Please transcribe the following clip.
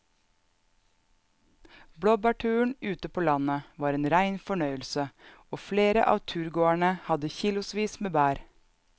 Blåbærturen ute på landet var en rein fornøyelse og flere av turgåerene hadde kilosvis med bær.